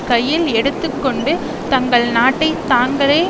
கையில் எடுத்துகொண்டு தங்கள் நாட்டை தாங்களே